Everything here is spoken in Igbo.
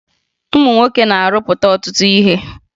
Ụmụ nwoke na-arụpụta ọtụtụ ihe